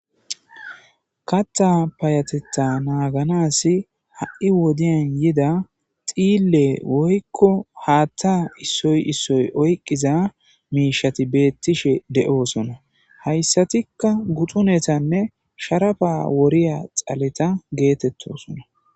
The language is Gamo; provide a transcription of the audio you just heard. Kaththa payyatetha naaganassi ha7i wodiyan yida dhiille woykko haaththa issoy issoy oyqqiza miishshati beettishe de7osona haysatika guxunenenne sharapa dhayssiya dhale geetettosona.